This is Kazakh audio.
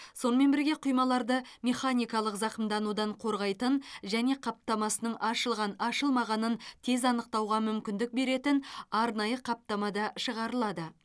сонымен бірге құймаларды механикалық зақымданудан қорғайтын және қаптамасының ашылған ашылмағанын тез анықтауға мүмкіндік беретін арнайы қаптамада шығарылады